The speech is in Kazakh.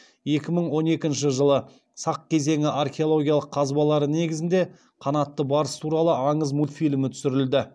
екі мың он екінші жылы сақ кезеңі археологиялық қазбалары негізінде қанатты барыс туралы аңыз мультфильмі түсірілді